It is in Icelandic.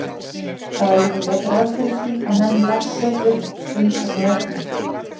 Það var líka gert ráð fyrir því að menn læsu upp frumsamið efni.